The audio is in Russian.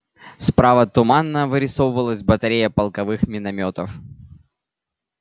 справа туманно вырисовывалась батарея полковых миномётов